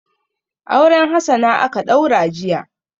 Auren Hassana aka ɗaura jiya.